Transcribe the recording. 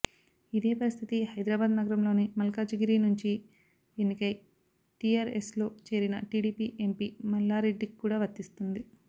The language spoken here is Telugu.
ఇదే పరిస్థితి హైదరాబాద్ నగరంలోని మల్కాజిగిరి నుంచి ఎన్నికై టీఆర్ఎస్లో చేరిన టీడీపీ ఎంపీ మల్లారెడ్డికి కూడా వర్తిస్తుంది